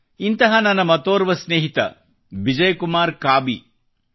ಇಂತಹ ನನ್ನ ಮತ್ತೊರ್ವ ಸ್ನೇಹಿತ ಬಿಜಯ್ಕುಮಾರ್ ಕಾಬಿ ಅವರು